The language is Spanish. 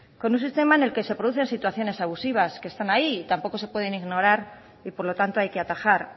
con un sistema que se producen situaciones abusivas que están ahí y tampoco se pueden ignorar y por lo tanto hay que atajar